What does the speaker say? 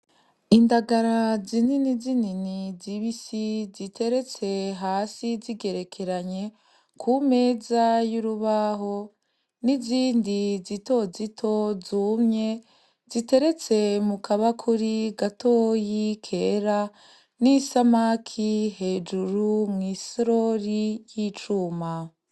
Indagara zinini zinini di bi si ziteretse hasi zigerekeranye ku meza y'urubaho n'izindi zito zito zumye ziteretse mu kaba kuri gatoyi kera n'isamaki hejuru mwie sirori y'icuma.